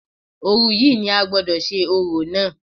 Òru yìí ni a gbọ́dọ̀ ṣe orò náà